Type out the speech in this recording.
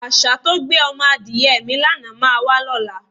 Às̩á tó gbé o̩mo̩ adìye̩ mi lánàá máa wá ló̩la.